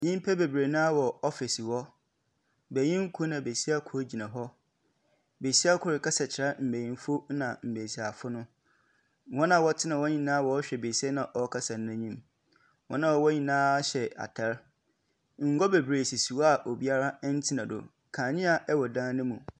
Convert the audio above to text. Nnipa bebree naa wɔ ɔfise hɔ benyini koro na besia koro gyina hɔ. Besia koro no rekasa kyerɛ nbenyinifo ɛna mbesiafo no. Wɔn a ɔtena hɔ nyinaa ɔhwɛ besia no ɔkasa no anim. Wɔn a ɔwɔ hɔ nyinaa hyɛ ataade, ngua bebree sisi hɔ a obia ntena do, kanea ɛwɔ dan no mu.